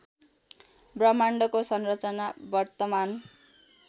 ब्रह्माण्डको संरचना वर्तमान